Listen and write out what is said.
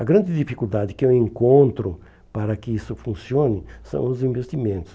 A grande dificuldade que eu encontro para que isso funcione são os investimentos.